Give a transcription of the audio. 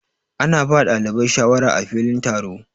Ana ba dalibai shawara á filin taro.